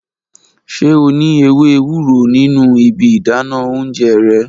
Ṣe o ni ewe ewuro ninu ibi idana ounjẹ rẹ?